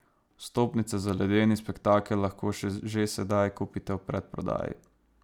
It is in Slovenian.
Vstopnice za ledeni spektakel lahko že sedaj kupite v predprodaji.